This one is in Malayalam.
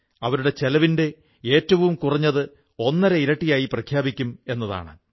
അവരുടെ ചെലവിന്റെ ഏറ്റവും കുറഞ്ഞത് ഒന്നര ഇരട്ടിയായി പ്രഖ്യാപിക്കും എന്നതാണത്